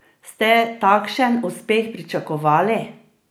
Ste takšen uspeh pričakovali?